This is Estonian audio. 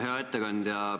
Hea ettekandja!